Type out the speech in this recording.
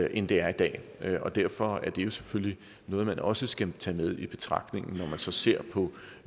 end det er i dag og derfor er det selvfølgelig noget man også skal tage med i betragtningen når man så ser på